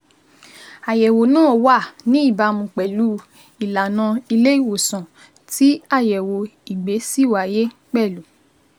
Àyẹ̀wò náà wà ní ìbámu pẹ̀lú ìlanà ilé ìwòsàn, tí àyẹ̀wò ìgbẹ́ si wáyé pẹ̀lú